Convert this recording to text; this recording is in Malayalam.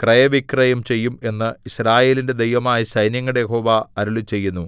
ക്രയവിക്രയം ചെയ്യും എന്ന് യിസ്രായേലിന്റെ ദൈവമായ സൈന്യങ്ങളുടെ യഹോവ അരുളിച്ചെയ്യുന്നു